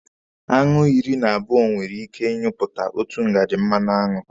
Aṅụ iri na abụọ nwere ike ị nyụpụta otu ngaji mmanụaṅụ.